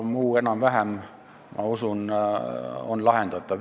Muu enam-vähem, ma usun, on lahendatav.